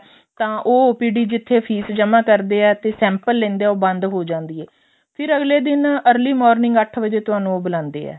ਤਾਂ ਉਹ OPD ਜਿੱਥੇ ਫ਼ੀਸ ਜਮਾ ਕਰਦੇ ਏ ਤੇ sample ਲੈਂਦੇ ਏ ਉਹ ਬੰਦ ਹੋ ਜਾਂਦੀ ਏ ਫਿਰ ਅਗਲੇ ਦਿਨ early morning ਅੱਠ ਵਜੇ ਤੁਹਾਨੂੰ ਉਹ ਬੁਲਾਂਦੇ ਏ